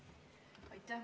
Aitäh!